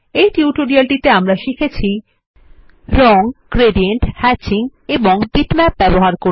এই টিউটোরিয়ালটিতে আমরা শিখেছি রং গ্রেডিয়েন্ট হ্যাচিং এবং বিটম্যাপ ব্যবহার করে